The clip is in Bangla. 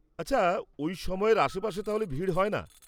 আচ্ছা, ওই সময়ের আশপাশে তাহলে ভিড় হয় না?